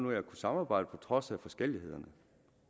ud af at samarbejde på trods af forskellighederne